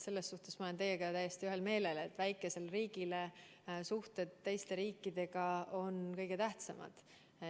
Selles olen ma teiega täiesti ühel meelel, et väikesele riigile on suhted teiste riikidega kõige tähtsamad.